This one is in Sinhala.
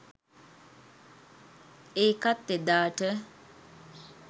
ඒකත් එදාට